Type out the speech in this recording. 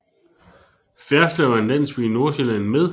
Ferslev er en landsby i Nordsjælland med